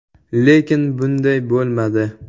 Lekin bunday bo‘lmadi.